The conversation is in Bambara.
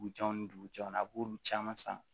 Dugujɛw ni dugujɛw a b'olu caman san